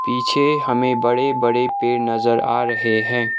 पीछे हमें बड़े बड़े पेड़ नजर आ रहे हैं।